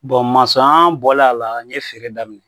bɔlen a la n ye feere daminɛ